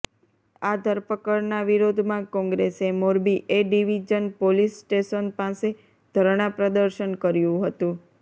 આ ધરપકડના વિરોધમાં કોંગ્રેસે Morbi A division police station પાસે ધરણા પ્રદર્શન કર્યુ હતુ